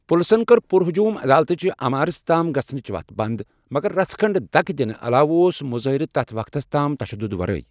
پٕلسن کٔر پُر ہجوٗم عدالتہٕ چہ عمارتہِ تام گژھنٕچ وَتھ بنٛد، مگر رژھ کھنٛڈ دَکہٕ دِنہٕ علاوٕ اوس مُظٲہرٕ تَتھ وقتَس تام تشدد ورٲے۔